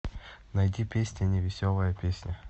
найди песня невеселая песня